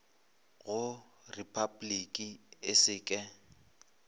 go repabliki e se ke